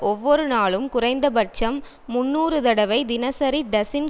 ஒவ்வொரு நாளும் குறைந்தபட்சம் முன்னூறு தடவை தினசரி டசின்